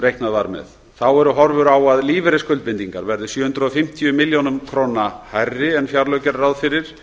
reiknað var með þá eru horfur á að lífeyrisskuldbindingar verði sjö hundruð og fimmtíu milljón krónum hærri en fjárlög gerðu ráð fyrir